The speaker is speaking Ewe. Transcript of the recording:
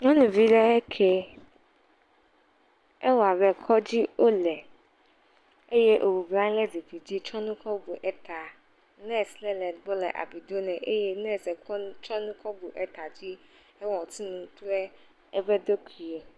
Nyɔnuvi lee eke. Ewɔ abe kɔdzi wole. Eye wòbɔblɔ anyi le zikpidzi tsɔ nu kɔbu eta. Nɛsi ɖe le egbɔ le abui do nɛ eye nɛsɛ kɔ nu tsɔ nu kɔ bu eta dzi he wòtu nu kuɖe eƒe ɖokuiɛ.